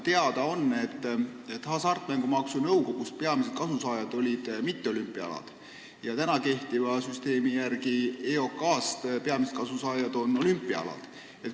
Teada on, et kehtiva süsteemi järgi on Hasartmängumaksu Nõukogust saanud peamiselt toetust mitteolümpiaalad ja EOK-st peamiselt olümpiaalad.